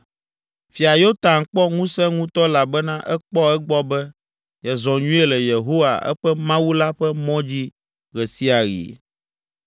Fia Yotam kpɔ ŋusẽ ŋutɔ elabena ekpɔ egbɔ be yezɔ nyuie le Yehowa, eƒe Mawu la ƒe mɔ dzi ɣe sia ɣi.